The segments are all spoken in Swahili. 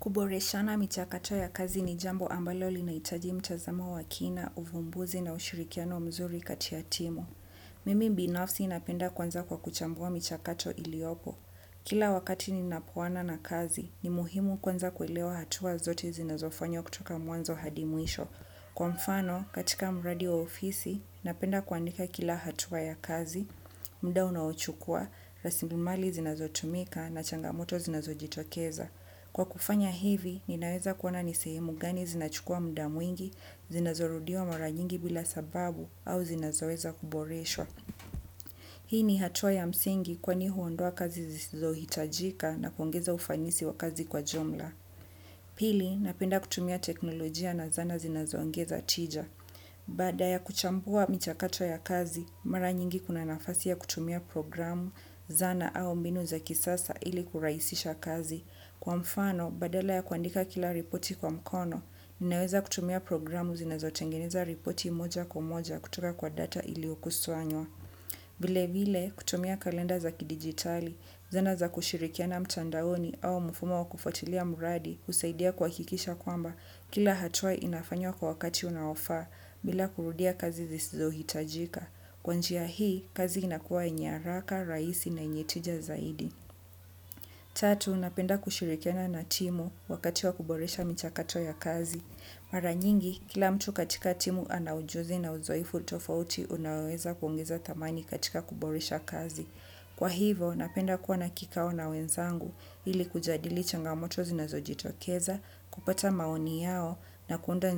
Kuboreshana michakachaa ya kazi ni jambo linahitaji mtazamo wa kina uvumbizi na ushirikiano mzuri kati ya timu. Mimi binafsi napenda kwanza kwa kuchambua mchakato iliopo. Kila wakati ninapoana na kazi, ni muhimu kwanza kuilewa hatua zote zinazofanya kutoka mwanzo hadi mwisho. Kwa mfano, katika mradi wa ofisi, napenda kuandika kila hatua ya kazi, muda unaochukua, raslimali zinazotumika na changamoto zinazo jitokeza. Kwa kufanya hivi, ninaweza kuona ni sehemu gani zinachukua muda mwingi, zinazorudiwa mara nyingi bila sababu, au zinazoweza kuboreswa. Hii ni hatua ya msingi kwani huondoa kazi zisizohitajika na kuongeza ufanisi wa kazi kwa jumla pili napenda kutumia teknolojia na zana zinazoongeza tija. Baada ya kuchambua michakato ya kazi, mara nyingi kuna nafasi ya kutumia programu, zana au mbinu za kisasa ili kurahisisha kazi. Kwa mfano, badala ya kuandika kila ripoti kwa mkono, ninaweza kutumia programu zinazo tengeneza ripoti moja kwa moja kutoka kwa data iliokusanywa. Vile vile, kutumia kalenda za kidigitali, zana za kushirikiana mtandaoni au mfumo wa kufuatilia mradi, kusaidia kuhakikisha kwamba kila hatuwla inafanywa kwa wakati unaofaa, bila kurudia kazi zisizo hitajika. Kwa njia hii, kazi inakuwa yenye haraka, rahisi na yenye tija zaidi. Tatu, napenda kushirikiana na timu wakati wa kuboresha michakato ya kazi. Mara nyingi, kila mtu katika timu anaujuzi na uzoefu tofauti unaoweza kuongeza thamani katika kuboresha kazi. Kwa hivyo napenda kuwa na kikao na wenzangu ili kujadili changamoto zinazojitokeza kupata maoni yao na kuunda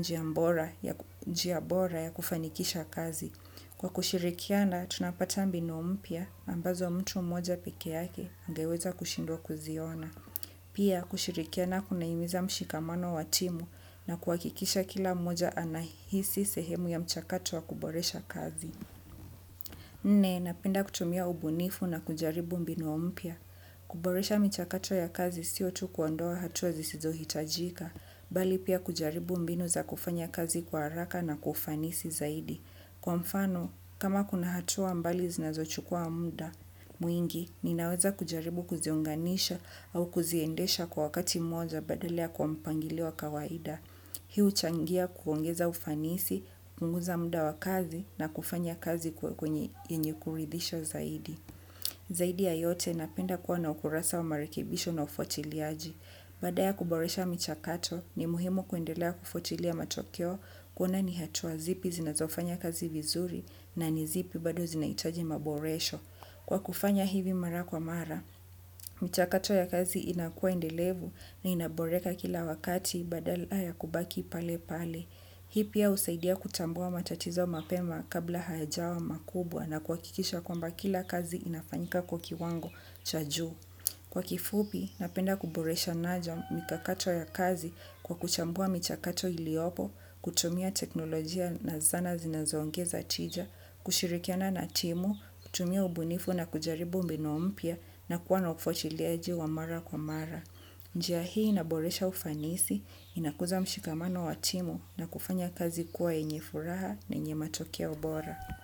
njia bora ya kufanikisha kazi. Kwa kushirikiana, tunapata mbinu mpya ambazo mtu mmoja pekee yake angeweza kushindwa kuziona. Pia kushirikiana kunahimiza mshikamano wa timu na kuhakikisha kila mmoja anahisi sehemu ya mchakatu wa kuboresha kazi. Nne napenda kutumia ubunifu na kujaribu mbinu mpya. Kuboresha michakato ya kazi sio tu kwa ndoa hatua zisizo hitajika, bali pia kujaribu mbinu za kufanya kazi kwa haraka na kwa fanisi zaidi. Kwa mfano, kama kuna hatua mbali zinazochukua muda, mwingi ninaweza kujaribu kuziunganisha au kuziendesha kwa wakati moja badala kwa mpangilio wa kawaida. Hii huchangia kuongeza ufanisi, kuongeza muda wa kazi na kufanya kazi kwenye kuridhisha zaidi. Zaidi ya yote napenda kuwa na ukurasa wa marekibisho na ufuatiliaji. Baada ya kuboresha michakato ni muhimu kuendelea kufuatilia matokeo kuona ni hatua zipi zinazofanya kazi vizuri na ni zipi bado zinahitaji maboresha. Kwa kufanya hivi mara kwa mara, mchakato ya kazi inakuwa ndelevu na inaboreka kila wakati badala ya kubaki pale pale. Hii pia husaidia kutambua matatizo mapema kabla hayajawa makubwa na kuhakikisha kwamba kila kazi inafanyika kwa kiwango cha juu. Kwa kifupi, napenda kuboresha naja mikakato ya kazi kwa kuchambua michakato iliopo, kutumia teknolojia na zana zinazoongeza tija, kushirikiana na timu, kutumia ubunifu na kujaribu mbinu mpya na kuwa na ufuatiliaji wa mara kwa mara. Njia hii inaboresha ufanisi, inakuza mshikamano wa timu na kufanya kazi kuwa yenye furaha na yenye matokea bora.